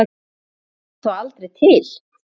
Var Jesús þá aldrei til?